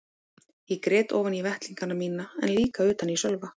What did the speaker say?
Ég grét ofan í vettlingana mína en líka utan í Sölva.